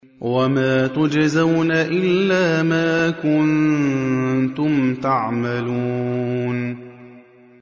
وَمَا تُجْزَوْنَ إِلَّا مَا كُنتُمْ تَعْمَلُونَ